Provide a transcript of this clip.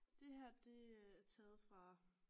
Det her det er taget fra